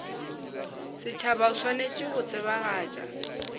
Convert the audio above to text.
setšhaba o swanetše go tsebagatša